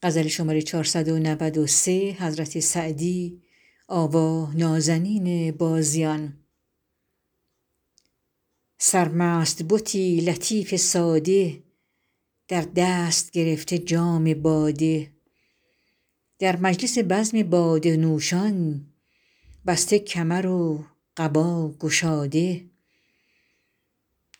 سرمست بتی لطیف ساده در دست گرفته جام باده در مجلس بزم باده نوشان بسته کمر و قبا گشاده